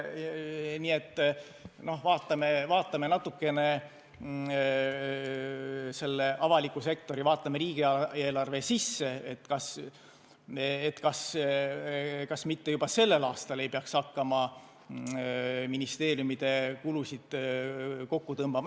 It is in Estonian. Nii et vaatame natukene avalikku sektorit, vaatame riigieelarve sisse, kas mitte juba sellel aastal ei peaks hakkama ministeeriumide kulusid kokku tõmbama.